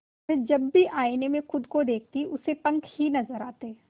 वह जब भी आईने में खुद को देखती उसे पंख ही नजर आते